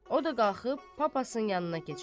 O da qalxıb papasın yanına keçər.